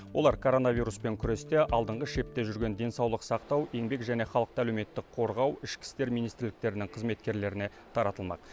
олар коронавируспен күресте алдыңғы шепте жүрген денсаулық сақтау еңбек және халықты әлеуметтік қорғау ішкі істер министрліктерінің қызметкерлеріне таратылмақ